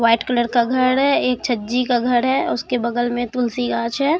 White colour का घर है एक छज्जी का घर है उसके बगल में तुलसी गांछ है।